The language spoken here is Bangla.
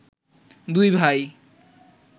দুই ভাই